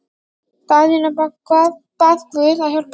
Daðína bað guð að hjálpa sér.